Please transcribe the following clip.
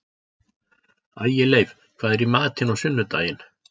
Ægileif, hvað er í matinn á sunnudaginn?